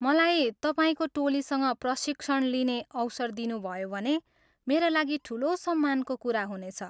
मलाई तपाईँको टोलीसँग प्रशिक्षण लिने अवसर दिनुभयो भने मेरा लागि ठुलो सम्मानको कुरा हुनेछ।